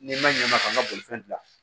Ni n ma ɲɛ ma ka n ka bolifɛn dilan